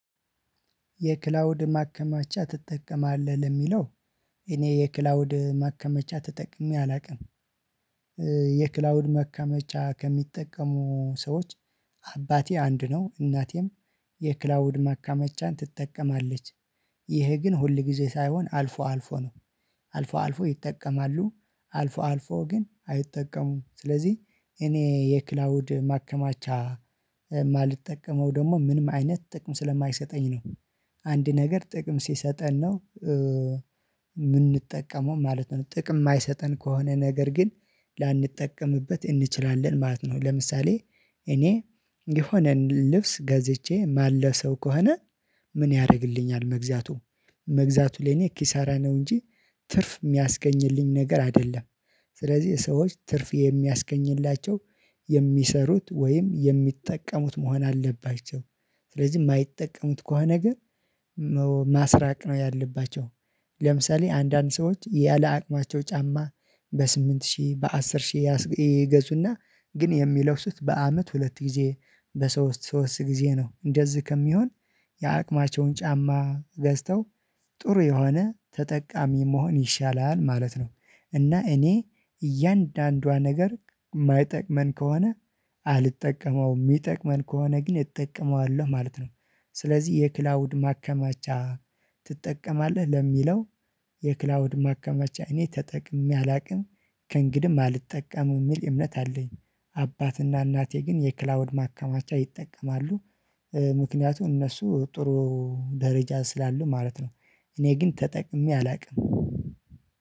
የክላውድ ማከማቻ ትጠቀማለህ ለሚለው እኔ የክላውድ ማከማቻ ተጠቅሜ አላውቅም የክላውድ ማከመቻ ከሚጠቀሙ ሰዎች አባቴ አንድ ነው እናቴም የክላውድ ማካመጫን ትጠቀማለች። ይህ ግን ሁል ጊዜ ሳይሆን አልፎ አልፎ ነው። አልፎ አልፎ ይጠቀማሉ አልፎ አልፎ ግን አይጠቀሙም ስለዚህ እኔ የክላውድ ማከማቻ የማልጠቀመው ደግሞ ምንም አይነት ጥቅም ስለማይሰጠኝ ነው። አንድ ነገር ጥቅም ሲሰጠን ነው የምንጠቀመው ማለት ነው። ጥቅም የማይሰጠን ከሆነ ነገር ግን ላንጠቀምበት እንችላለን ማለት ነው ለምሳሌ እኔ የሆነ ልብስ ገዝቼ ማለብሰው ከሆነ ምን ያደርግልኛል መግዛቱ መግዛቱ ለኔ ኪሳራ ነው እንጂ ትርፍ የሚያስገኝልኝ ነገር አይደለም። ስለዚህ ሰዎች ትርፍ የሚያስገኝላቸው ወይም የሚጠቀሙት መሆን አለባቸው። ስለዚህ የማይጠቀሙት ከሆነ ነገር ማስራቅ ነው ያለባቸው። ለምሳሌ አንዳንድ ሰዎች ያለ አቅማቸው ጫማ በስምንት ሺህ በአስር ሺህ ይገዙና ግን የሚለብሱት በአመት ሁለት ጊዜ በሶስት ሶስት ጊዜ ነው እንደዚህ ከሚሆን የአቅማቸውን ጫማ ገዝተው ጥሩ የሆነ ተጠቃሚ መሆን ይሻላል ማለት ነው። እና እኔ እያንዳንዷ ነገር የማይጠቅመን ከሆነ አልጠቀመውም የሚጠቅመን ከሆነ ግን እጠቀማለው ማለት ነው። ስለዚህ የክላውድ ማከማቻ ትጠቀማለህ ለሚለው የክላውድ ማከማቻ እኔ ተጠቅሜ አላውቅም ከእንግዲም አልጠቀምም የሚል እምነት አለኝ። አባትና እናቴ ግን የክላውድ ማከማቻ ይጠቀማሉ ምክንያቱም እነሱ ጥሩ ደረጃ ስላሉ ማለት ነው እኔ ግን ተጠቅሜ አላውቅም።